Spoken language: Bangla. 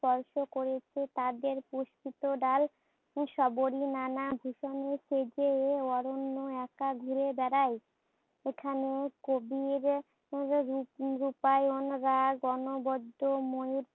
স্পর্শ করেছে তাদের মুখরিত ডাল,